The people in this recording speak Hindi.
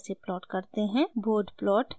* bode plot कैसे बनाते हैं